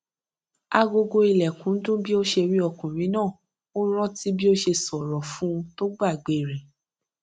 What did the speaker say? agogo ilèkùn dún bí ó ṣe rí ọkùnrin náà ó rántí bí ó ṣe ṣòro fún un tó gbàgbé rè